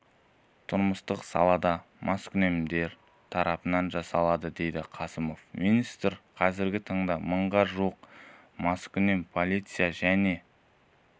тұрмыстық салада маскүнемдер тарапынан жасалады деді қасымов министр қазіргі таңда мыңға жуық маскүнем полиция және